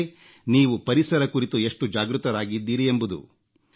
ಅದೇ ನೀವು ಪರಿಸರ ಕುರಿತು ಎಷ್ಟು ಜಾಗೃತರಾಗಿದ್ದೀರಿ ಎಂಬುದು